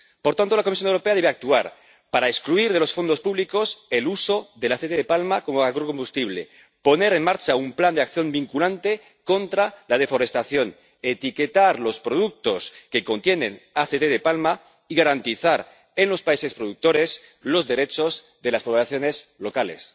Por tanto, la Comisión Europea debe actuar para excluir de los fondos públicos el uso del aceite de palma como agrocombustible, poner en marcha un plan de acción vinculante contra la deforestación, etiquetar los productos que contienen aceite de palma y garantizar en los países productores los derechos de las poblaciones locales.